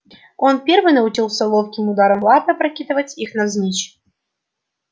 он первый научился ловким ударом лапы опрокидывать их навзничь